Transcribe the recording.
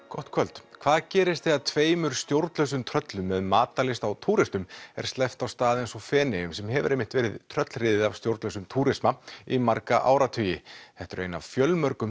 gott kvöld hvað gerist þegar tveimur stjórnlausum tröllum með matarlyst á túristum er sleppt á stað eins og Feneyjar sem hefur einmitt verið tröllriðið af stjórnlausum túrisma í marga áratugi þetta eru ein af fjölmörgum